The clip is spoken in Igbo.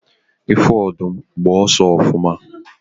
ifu odum, gba oso ofuma